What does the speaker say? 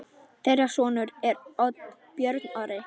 Þeirra sonur er Björn Orri.